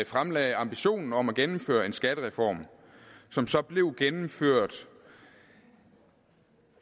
fremlagde ambitionen om at gennemføre en skattereform som så blev gennemført